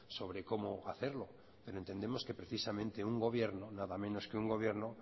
sobre cómo hacerlo pero entendemos que precisamente un gobierno nada menos que un gobierno